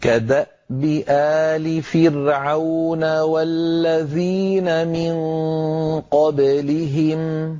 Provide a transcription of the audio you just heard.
كَدَأْبِ آلِ فِرْعَوْنَ وَالَّذِينَ مِن قَبْلِهِمْ ۚ